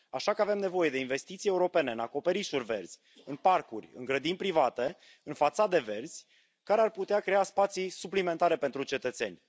Așa că avem nevoie de investiții europene în acoperișuri verzi, în parcuri, în grădini private, în fațade verzi, care ar putea crea spații suplimentare pentru cetățeni.